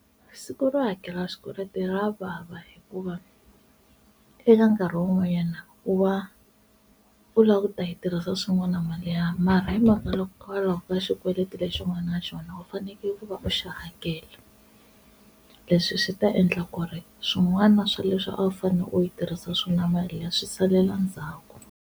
Siku ro hakela swikweleti ra vava hikuva eka nkarhi wun'wanyana u va u lava ku ta yi tirhisa swin'wana mali ya, mara hi mhaka hikokwalaho ka xikweleti lexi u nga na xona u fanekele ku va u xi hakela. Leswi swi ta endla ku ri swin'wana swa leswi a wu fanele u yi tirhisa swona mali liya swi salela ndzhaku.